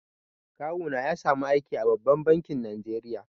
Kawuna ya samu aiki a babban bankin Najeriya.